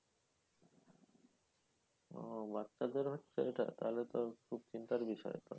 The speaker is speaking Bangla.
ওহ বাচ্চাদের হচ্ছে ঐটা? তাহলে তো খুব চিন্তার বিষয়।